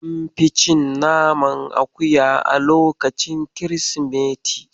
An fi cin naman akuya a lokacin kirsimeti.